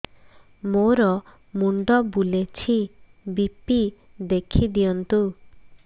ମୋର ମୁଣ୍ଡ ବୁଲେଛି ବି.ପି ଦେଖି ଦିଅନ୍ତୁ